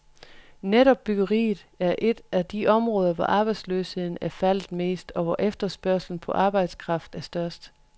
Netop byggeriet er et af de områder, hvor arbejdsløsheden er faldet mest, og hvor efterspørgslen på arbejdskraft er størst.